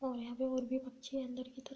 और यहाँ पे बहुत अन्दर की तरफ --